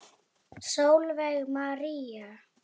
Sólveig María.